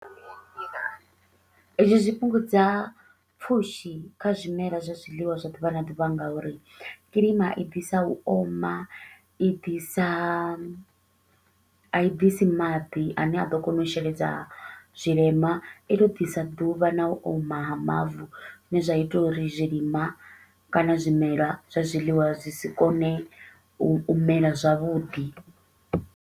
Hezwi zwi fhungudza pfushi kha zwimela zwa zwiḽiwa zwa ḓuvha na ḓuvha nga uri kiḽima i ḓisa u oma, i ḓisa a i ḓisi maḓi a ne a ḓo kona u sheledza zwilimwa. I to u ḓisa ḓuvha na u oma ha mavu, zwi ne zwa ita uri zwilimwa kana zwimelwa zwa zwiḽiwa zwi si kone u mela zwavhuḓi.